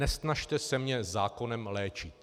Nesnažte se mě zákonem léčit!